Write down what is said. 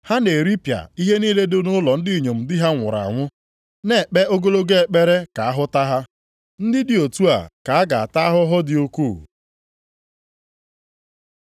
Ha na-eripịa ihe niile dị nʼụlọ ndị inyom ndị di ha nwụrụ anwụ, nʼekpe ogologo ekpere ka a hụta ha. Ndị dị otu a ka a ga-ata ahụhụ dị ukwuu.”